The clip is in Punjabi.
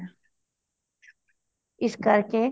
ਇਸ ਕਰਕੇ